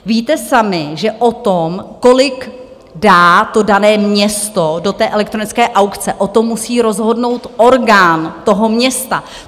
Víte sami, že o tom, kolik dá to dané město do té elektronické aukce, o tom musí rozhodnout orgán toho města.